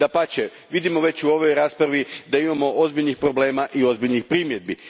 Dapače, vidimo već u ovoj raspravi da imamo ozbiljnih problema i ozbiljnih primjedbi.